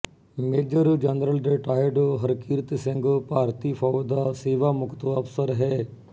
major general retired Harkirat Singh ਭਾਰਤੀ ਫੌਜ ਦਾ ਸੇਵਾ ਮੁਕਤ ਅਫਸਰ ਹੈ